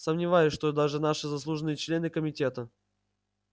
сомневаюсь что даже наши заслуженные члены комитета